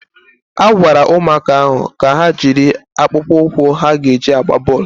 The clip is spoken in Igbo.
A gwara ụmụaka ahụ ka ha jiri akpụkpọ ụkwụ ha ga-eji agba bọọlụ